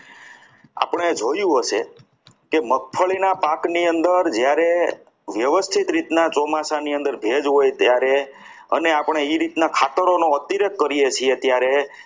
આપણે જોયું હશે કે મગફળીના પાકની અંદર જ્યારે વ્યવસ્થિત રીતના ચોમાસાની અંદર ભેજ હોય ત્યારે અને આપણે એ રીતે ખાતરોનો અત્યારે કરીએ છીએ ત્યારે